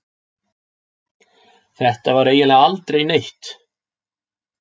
Þetta var eiginlega aldrei neitt.